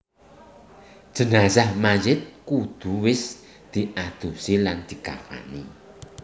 Jenazah Mayit kudu wis diadusi lan dikafani